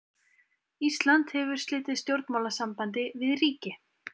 Ísland hefur slitið stjórnmálasambandi við ríki.